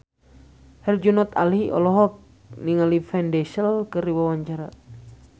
Herjunot Ali olohok ningali Vin Diesel keur diwawancara